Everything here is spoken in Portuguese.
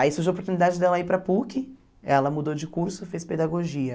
Aí surgiu a oportunidade dela ir para a PUC, ela mudou de curso, fez pedagogia.